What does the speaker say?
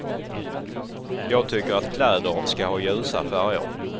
Jag tycker att kläder ska ha ljusa färger.